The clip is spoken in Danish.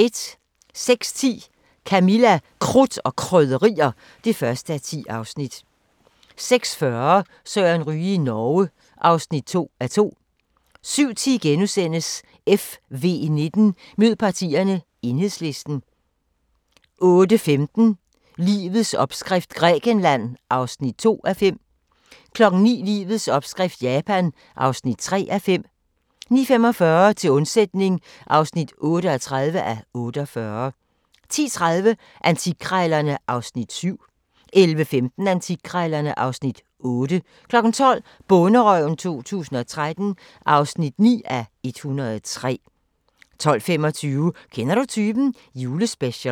06:10: Camilla – Krudt og Krydderier (1:10) 06:40: Søren Ryge i Norge (2:2) 07:10: FV19: Mød partierne – Enhedslisten * 08:15: Livets opskrift – Grækenland (2:5) 09:00: Livets opskrift – Japan (3:5) 09:45: Til undsætning (38:48) 10:30: Antikkrejlerne (Afs. 7) 11:15: Antikkrejlerne (Afs. 8) 12:00: Bonderøven 2013 (9:103) 12:25: Kender du typen? – Julespecial